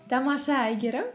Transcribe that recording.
тамаша әйгерім